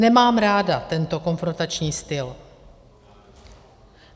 Nemám ráda tento konfrontační styl.